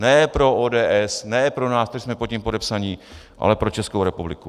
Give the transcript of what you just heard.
Ne pro ODS, ne pro nás, co jsme pod tím podepsaní, ale pro Českou republiku.